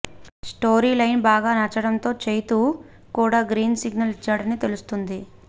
story line బాగా నచ్చడంతో చైతు కూడా గ్రీన్ సిగ్నల్ ఇచ్చాడని తెలుస్తుంది